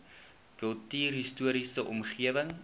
kultuurhis toriese omgewing